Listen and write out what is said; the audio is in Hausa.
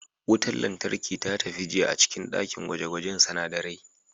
Wutar lantarki ta tafi jiya a cikin dakin gwaje-gwajen sunadarai